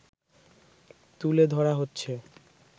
তুলে ধরা হচ্ছে